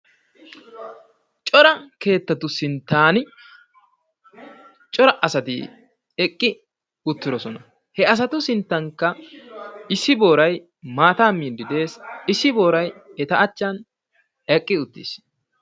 Cora keettati sinttan cora asati eqqi uttidosona. he asatu sinttankka issi booray maataa miiddi d'ees, issi booray eta achchan eqqi uttiis.